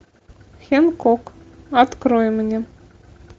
хэнкок открой мне